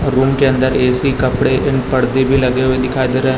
room के अंदर A C कपड़े इन पड़दे भी लगे हुवे दिखाई दे र--